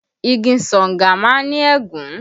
Igi Sanga má ń ní ègún